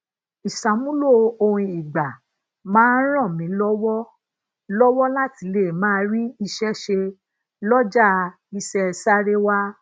isamulo ohun igba maa ń ràn mí lówó lówó láti lè máa ri ise se loja ise sarewa